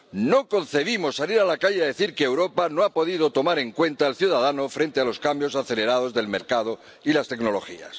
No concebimos salir a la calle a decir que Europa no ha podido tomar en cuenta al ciudadano frente a los cambios acelerados del mercado y las tecnologías.